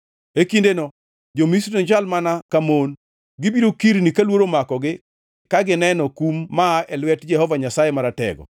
E kindeno jo-Misri nochal mana ka mon. Gibiro kirni ka luoro omakogi ka gineno kum maa e lwet Jehova Nyasaye Maratego.